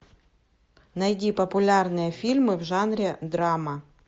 найди популярные фильмы в жанре драма